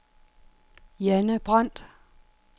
Janne Brandt